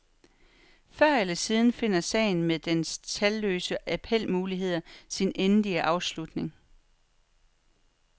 Før eller siden finder sagen med dens talløse appelmuligheder sin endelige afslutning.